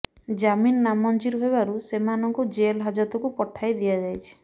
ଜାମିନ ନାମଂଜୁର ହେବାରୁ ସେମାଙ୍କୁ ଜେଲ ହାଜତକୁ ପଠାଇ ଦିଅଯାଇଛି